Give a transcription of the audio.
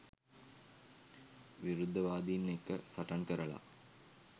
විරුද්ධවාදින් එක්ක සටන් කරලා